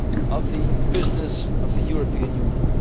the very heart of the business of the European